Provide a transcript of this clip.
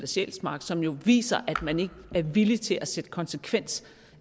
sjælsmark som jo viser at man ikke er villig til at sætte sig konsekvent